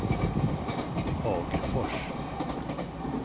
Hagfors